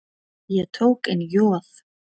Ég tók inn Joð.